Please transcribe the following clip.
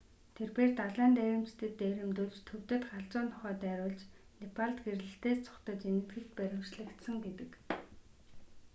тэрбээр далайн дээрэмчдэд дээрэмдүүлж төвдөд галзуу нохой дайруулж непалд гэрлэлтээс зугатаж энэтхэгт баривчлагдсан гэдэг